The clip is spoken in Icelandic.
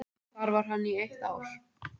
Þar var hann í eitt ár.